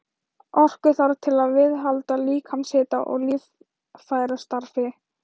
Orku þarf til að viðhalda líkamshita og líffærastarfi.